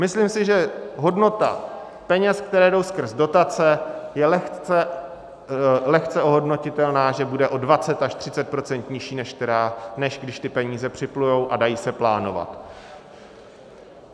Myslím si, že hodnota peněz, které jdou skrz dotace, je lehce ohodnotitelná, že bude o 20 až 30 % nižší, než když ty peníze připlují a dají se plánovat.